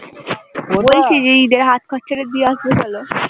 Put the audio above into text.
বলছি যে ঈদ এর হাত খরচা টা দিয়ে আসবে চলো